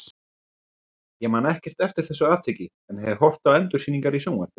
Ég man ekkert eftir þessu atviki en hef horft á endursýningar í sjónvarpinu.